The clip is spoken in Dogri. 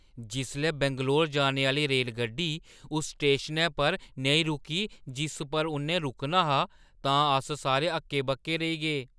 जिसलै बैंगलोर जाने आह्‌ली रेलगड्डी उस स्टेशनै पर नेईं रुकी जिस उप्पर इन रुकना हा तां अस सारे हक्के-बक्के रेही गे।